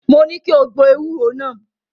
Mo ní kí o gbo ewúro náà.